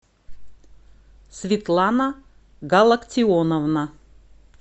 светлана галактионовна